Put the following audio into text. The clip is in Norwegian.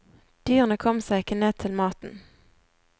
Dyrene kom seg ikke ned til maten.